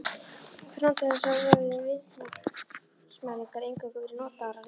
Fram til þessa höfðu viðnámsmælingar eingöngu verið notaðar á lághitasvæðum.